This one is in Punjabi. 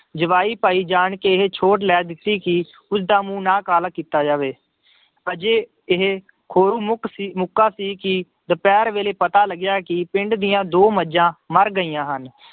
ਜਵਾਈ ਭਾਈ ਜਾਣ ਕੇ ਇਹ ਛੋਟ ਲੈ ਦਿੱਤੀ ਕਿ ਉਸਦਾ ਮੂੰਹ ਨਾ ਕਾਲਾ ਕੀਤਾ ਜਾਵੇ, ਅਜੇ ਇਹ ਖੋਰੂ ਮੁੱਕ ਸੀ ਮੁੱਕਾ ਸੀ ਕਿ ਦੁਪਿਹਰ ਵੇਲੇ ਪਤਾ ਲੱਗਿਆ ਕਿ ਪਿੰਡ ਦੀਆਂ ਦੋ ਮੱਝਾਂ ਮਰ ਗਈਆਂ ਹਨ।